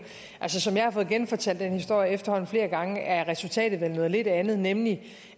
altså som jeg har fået genfortalt den historie efterhånden flere gange er resultatet vel noget lidt andet nemlig